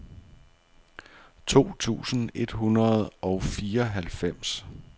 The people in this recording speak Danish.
to tusind et hundrede og fireoghalvfems